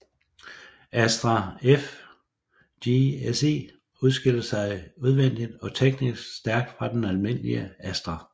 Astra F GSi adskilte sig udvendigt og teknisk stærkt fra den almindelige Astra